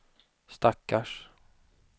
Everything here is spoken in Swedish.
stackars